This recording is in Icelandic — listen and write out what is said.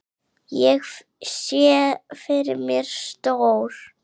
Ég sé fyrir mér stór